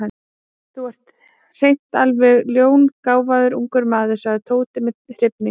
Þú ert hreint alveg ljóngáfaður ungur maður sagði Tóti með hrifningu.